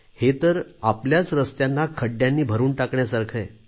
हे तर आपल्याच रस्त्यांना खड्ड्यांनी भरून टाकण्यासारखे आहे